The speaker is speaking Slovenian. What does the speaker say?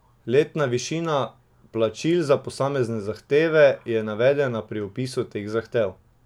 Letna višina plačil za posamezne zahteve je navedena pri opisu teh zahtev.